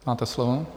Máte slovo.